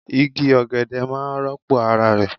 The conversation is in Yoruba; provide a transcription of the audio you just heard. Igi ogede maa n ropo ara re